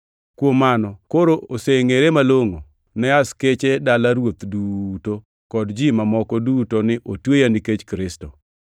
Kuom mano, koro osengʼere malongʼo ne askeche dala ruoth duto, kod ji mamoko duto ni otweya nikech Kristo.